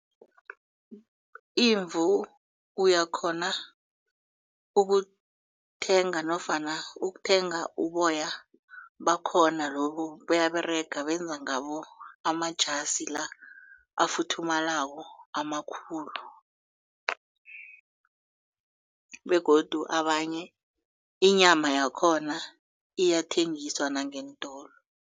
Imvu uyakghona ukuthenga nofana ukuthenga uboya bakhona lobu buyaberega benza ngabo amajasi la afuthumalako amakhulu begodu abanye inyama yakhona iyathengiswa nangeentolo.